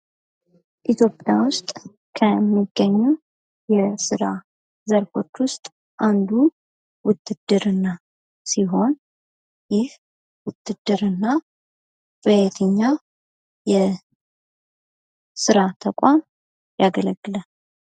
ኢትዮጵያ ውስጥ ከሚገኙ የስራ ዘርፎች ውስጥ አንዱ ውትድርና ሲሆን ይህ ውትድርና በየትኛውም የስራ ተቋም ያገለግላል?